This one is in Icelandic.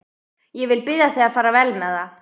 Ég vil biðja þig að fara vel með það.